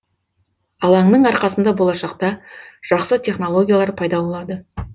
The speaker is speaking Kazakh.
алаңның арқасында болашақта жақсы технологиялар пайда болады